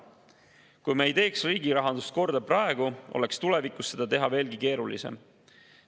Kui me ei teeks riigi rahandust korda praegu, oleks tulevikus seda teha veelgi keerulisem.